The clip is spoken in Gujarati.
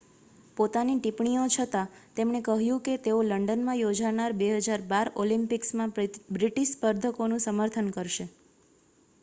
પોતાની ટિપ્પણીઓ છતાં તેમણે કહ્યું કે તેઓ લંડનમાં યોજાનાર 2012 ઑલિમ્પિક્સમાં બ્રિટિશ સ્પર્ધકોનું સમર્થન કરશે